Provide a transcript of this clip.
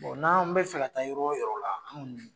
n'an bɛ fɛ ka ta yɔrɔ o yɔrɔ la